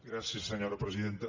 gràcies senyora presidenta